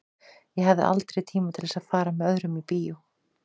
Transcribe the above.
Ég hafði aldrei tíma til að fara með öðrum í bíó.